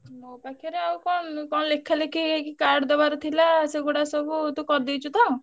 ମୋ ପାଖରେ ଆଉ କଣ ମୁଁ କଣ ଲେଖାଲେଖି କି card ଦବାର ଥିଲା ସେଗୁଡା ସବୁ ତୁ କରିଦେଇଛୁ ତ?